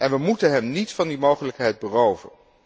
En we mogen hem niet van die mogelijkheid beroven.